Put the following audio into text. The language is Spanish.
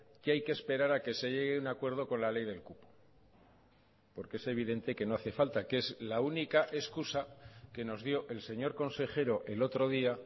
que hay que esperar a que se llegue a un acuerdo con la ley del cupo porque es evidente que no hace falta que es la única excusa que nos dio el señor consejero el otro día